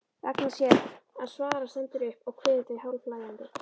Ragna sér að svara, stendur upp og kveður þau hálfhlæjandi.